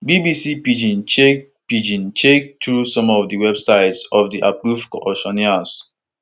bbc pidgin check pidgin check through some of di websites of di approved auctioneers